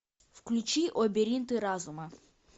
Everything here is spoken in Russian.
включи лабиринты разума